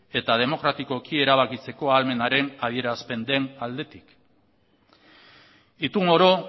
eta demokratikoki erabakitzeko ahalmenaren adierazpen den aldetik itun oro